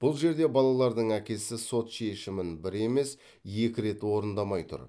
бұл жерде балалардың әкесі сот шешімін бір емес екі рет орындамай тұр